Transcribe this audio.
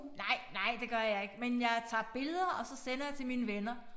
Nej nej det gør jeg ikke men jeg tager billeder og så sender jeg til mine venner